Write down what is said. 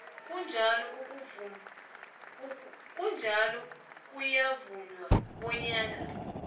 kunjalo kuyavunywa bonyana